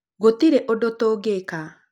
gũtirĩ ũndũ tũngĩka